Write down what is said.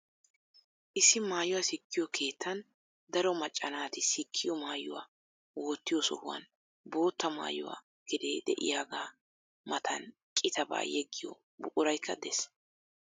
Issi maayuwa sikkiyoo keettan daro macca naati sikkiyoo maayuwa wottiyoo sohuwan bootta maayuwaa kiree de"iyaagaa matan qitabaa yeggiyoo buquraykka de'ees.